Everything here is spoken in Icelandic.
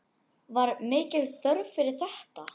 Var mikil þörf fyrir þetta?